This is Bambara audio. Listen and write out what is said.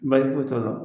Bali foyi t'a la